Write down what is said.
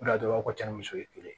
O de la dɔrɔn cɛ ni muso ye kelen ye